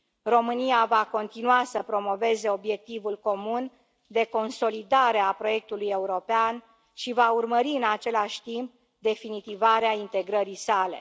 România va continua să promoveze obiectivul comun de consolidare a proiectului european și va urmări, în același timp, definitivarea integrării sale.